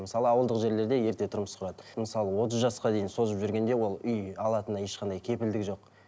мысалы ауылдық жерлерде ерте тұрмыс құрады мысалы отыз жасқа дейін созып жүргенде ол үй алатынына ешқандай кепілдік жоқ